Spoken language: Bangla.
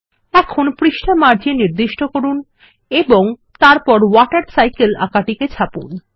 এখন পৃষ্ঠা মার্জিন নির্দিষ্ট করুন এবং তারপর ওয়াটারসাইকেল আঁকাটিকে ছাপুন